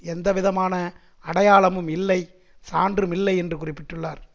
எந்தவிதமான அடையாளமும் இல்லை சான்றும் இல்லை என்று குறிப்பிட்டுள்ளார்